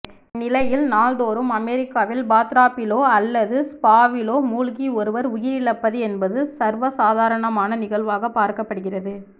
இந்நிலையில் நாள் தோறும் அமெரிக்காவில் பாத்டப்பிலோ அல்லது ஸ்பாவிலோ மூழ்கி ஒருவர் உயிரிழப்பது என்பது சர்வசாதாரணமான நிகழ்வாக பார்க்கப்படுகிறது